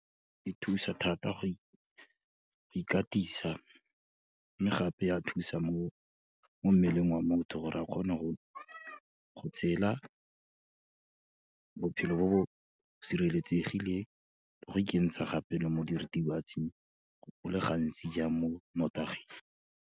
Di thusa thata go ikatisa, mme gape ya thusa mo mmeleng wa motho gore a kgone go tshela, bophelo bo bo sireletsegileng le go ikentsha gape le mo diritibatsing, go le gantsi jang, mo nnotaging.